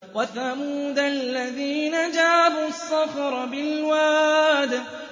وَثَمُودَ الَّذِينَ جَابُوا الصَّخْرَ بِالْوَادِ